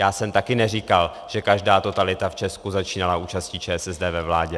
Já jsem také neříkal, že každá totalita v Česká začínala účastí ČSSD ve vládě.